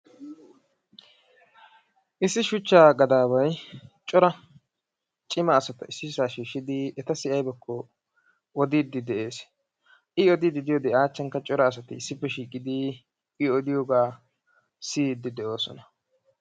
issi shuchchaa gadaaway cora cimma asata issisaa shiishidi etassi aybakko odiidi dees; i odiidi diyode cora asati a achan issisaa shiiqidi i odiyobaa siyiidi de'oosoan.